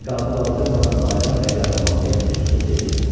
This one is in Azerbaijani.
Niqabı qaldırmadan Bayram bəy Qaramanlıya üz tutub dedi: